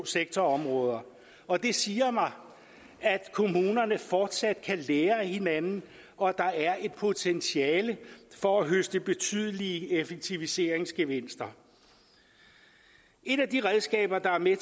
sektorområder og det siger mig at kommunerne fortsat kan lære af hinanden og at der er et potentiale for at høste betydelige effektiviseringsgevinster et af de redskaber der er med